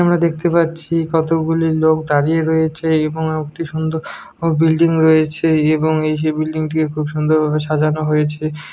আমরা দেখতে পাচ্ছি কতগুলি লোক দাঁড়িয়ে রয়েছে এবং একটি সুন্দর বিল্ডিং রয়েছে এবং এই বিল্ডিং টি খুব সুন্দর ভাবে সাজানো হয়েছে ।